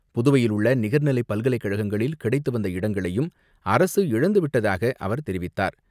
புதுவையில் உள்ள நிகர்நிலை பல்கலைக்கழகங்களில் கிடைத்து வந்த இடங்களையும் அரசு இழந்துவிட்டதாக அவர் தெரிவித்தார்.